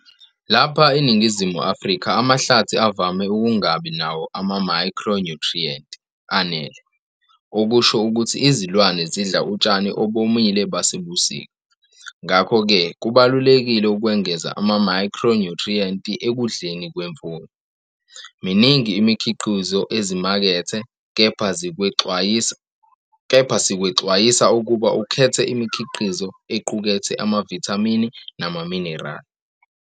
Lapha eNingizimu Afrika amahlathi avame ukungabi nawo amamayikhro-nyuthriyenti anele, okusho ukuthi izilwane zidla utshani obomile basebusika. Ngakho-ke kubalulekile ukwengeza amamayikhro-nyuthriyenti ekudleni kwemfuyo. Miningi imikhiqizo ezimakethe, kepha sikwexwayisa ukuba ukhethe imikhiqizo equkethe amavithamini namaminerali.